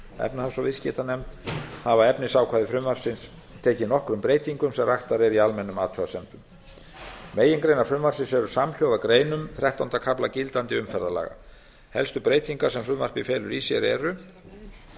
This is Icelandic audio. efnahags og viðskiptanefnd hafa efnisákvæði frumvarpsins tekið nokkrum breytingum sem raktar eru í almennum athugasemdum megingreinar frumvarpsins eru samhljóða greinum þrettánda kafla gildandi umferðarlaga helstu breytingar sem frumvarpið felur í sér eru